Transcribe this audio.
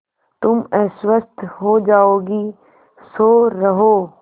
तुम अस्वस्थ हो जाओगी सो रहो